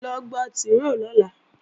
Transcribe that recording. Lọ gba tìróò lọ́la!